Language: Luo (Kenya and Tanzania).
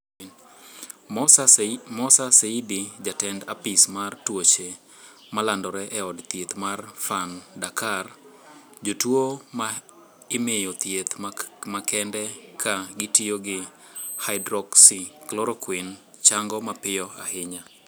Mossa Seydi, Jatend apis mar tuoche malandore e od thieth mar Fann, Dakar:"Jotuwo ma imiyo thieth makende ka gitiyo gi Hydroxychloroquine chango mapiyo ahinya".